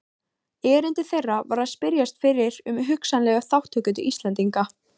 Erindi þeirra var að spyrjast fyrir um hugsanlega þátttöku Íslendinga.